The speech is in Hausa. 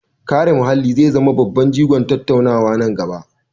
Kare muhalli zai zama babban jigon tattaunawa na gaba.